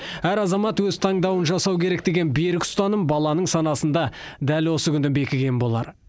әр азамат өз таңдауын жасау керек деген берік ұстаным баланың санасында дәл осы күні бекіген болар